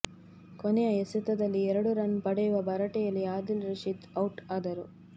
ಕೊನೆಯ ಎಸೆತದಲ್ಲಿ ಎರಡು ರನ್ ಪಡೆಯುವ ಭರಾಟೆಯಲ್ಲಿ ಆದಿಲ್ ರಶೀದ್ ಔಟ್ ಆದರು